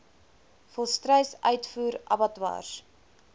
volstruis uitvoer abattoirs